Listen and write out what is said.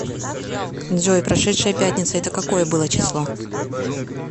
джой прошедшая пятница это какое было число